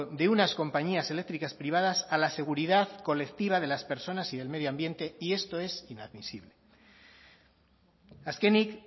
de unas compañías eléctricas privadas a la seguridad colectiva de las personas y del medio ambiente y esto es inadmisible azkenik